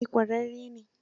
Eh ƙwararre ne.